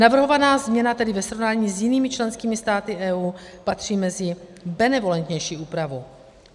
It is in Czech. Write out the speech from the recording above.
Navrhovaná změna tedy ve srovnání s jinými členskými státy EU patří mezi benevolentnější úpravu.